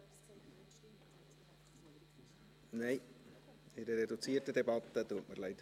Nein, das geht in einer reduzierten Debatte nicht, tut mir leid.